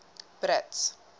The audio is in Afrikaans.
brits